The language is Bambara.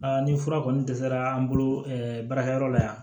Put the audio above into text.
ni fura kɔni dɛsɛra an bolo baarakɛyɔrɔ la yan